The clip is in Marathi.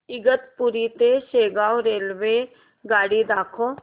इगतपुरी ते शेगाव रेल्वेगाडी दाखव